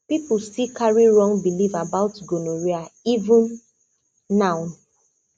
people still carry wrong belief about gonorrhea even now